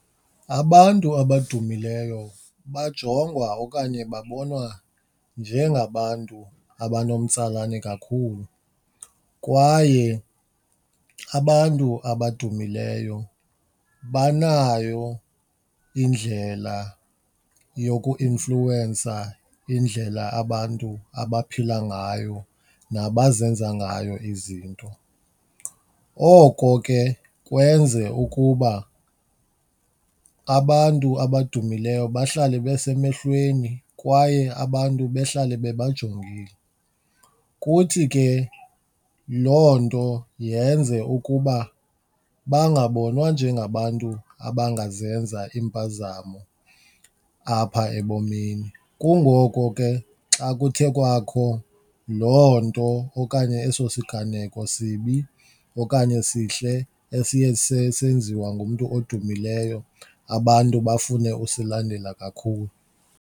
Abantu abadumileyo bajongwa okanye babona njengabantu abanomtsalane kakhulu kwaye abantu abadumileyo banayo indlela yoku influwensa indlela abantu abaphila ngayo nabazenza ngayo izinto. Oko ke kwenze ukuba abantu abadumileyo bahlale besemehlweni kwaye abantu behlale bebajongile kuthi ke loo nto yenze ukuba bangabonwa njengabantu abangazenza iimpazamo apha ebomini. Kungoko ke xa kuthe kwakho loo nto okanye eso siganeko sibi okanye sihle esiye senziwe ngumntu odumileyo abantu bafune usilandela kakhulu.